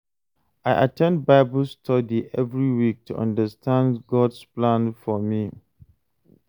I at ten d Bible study every week to understand God’s plan for me.